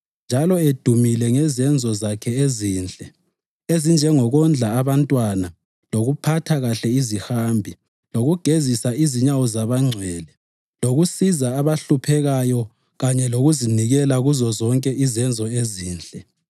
njalo edumile ngezenzo zakhe ezinhle, ezinjengokondla abantwana, lokuphatha kuhle izihambi, lokugezisa inyawo zabangcwele, lokusiza abahluphekayo kanye lokuzinikela kuzozonke izenzo ezinhle.